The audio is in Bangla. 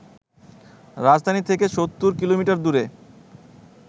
রাজধানী থেকে ৭০ কিলোমিটার দূরে